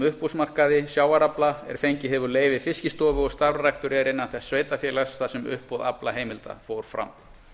uppboðsmarkaði sjávarafla er fengið hefur leyfi fiskistofu og starfræktur er innan þess sveitarfélags þar sem uppboð aflaheimilda fór fram